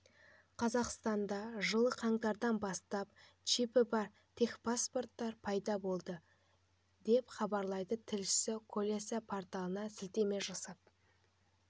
қазақстанда жылы қаңтардан бастап чипі бар техпасторттар пайда болады деп хабарлайды тілшісі колеса порталына сілтеме жасап